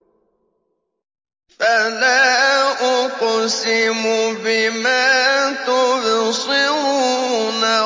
فَلَا أُقْسِمُ بِمَا تُبْصِرُونَ